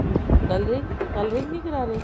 coloring coloring ਨੀ ਕਰਵਾ ਰਹੇ